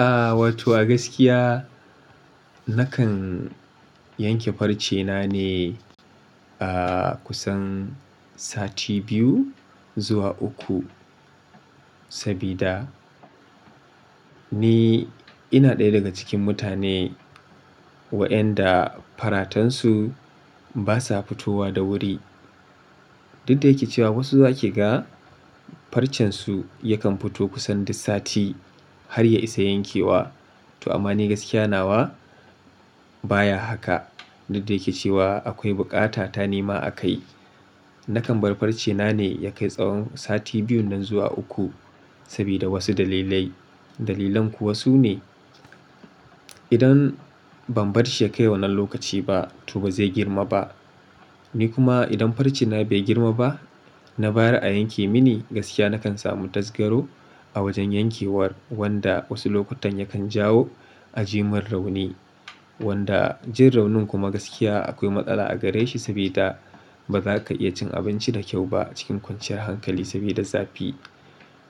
Aaa, wato a gaskiya nakan yanke farce na ne a kusan sati biyu zuwa uku. Sabida ni ina ɗaya daga cikin mutane wayanda faratan su basa fitowa da wuri. Dudda yake cewa wasu za kiga farcen su yakan fito kusan duk sati har ya isa yankewa. To amma ni gaskiya nawa baya haka. Dudda yake cewa akwai bukata ta nima akai. Nakan bar farce na ne ya kai tsawon sati biyun nan zuwa uku sabida wasu dalilai. Dalilan kuwa sune idan ban barshi ya kai wannan lokaci ba to bazai girma ba. Ni kuma idan farce na bai girma ba, na bayar yanke mini gaskiya nakan samu tazgaro a wajen yankewar wanda wasu lokutan yakan jawo a jiman rauni. Wanda jin raunin kuma gaskiya akwai matsala a gare shi sabida baza ka iya cin abinci da kyau ba a cikin kwanciyar hankali sabida zafi.